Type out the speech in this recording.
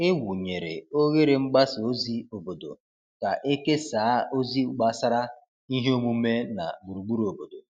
E wụnyere oghere mgbasa ozi obodo ka e kesaa ozi gbasara ihe omume na gburugburu obodo.